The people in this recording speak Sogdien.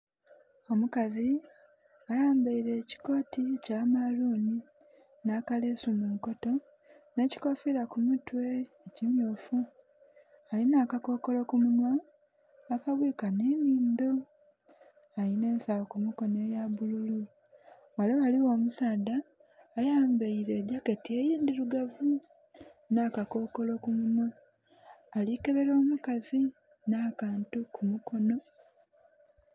Omukazi ayambaile ekikoti kya maalunhi, nha kalesu mu nkoto nhe kikoofila ku mutwe ekimyufu alinha akakolo ku munwa, akabwika nhenhinhindho, alinha ensagho ku mukonha eyabululu. Ghale ghaligho musaadha ayambaile ayambaile gyaketi endhilugavu nha kakokolo ku munwa ali kebela omukazi nhakantu ku mukono.